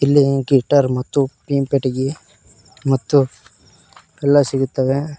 ಇಲ್ಲಿ ಗಿಟಾರ್ ಮತ್ತು ಪಿಯಿಂಗ್ ಪೆಟ್ಟಿಗಿ ಮತ್ತು ಎಲ್ಲಾ ಸಿಗುತ್ತವೆ.